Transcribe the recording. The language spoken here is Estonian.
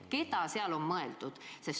Keda seal on mõeldud?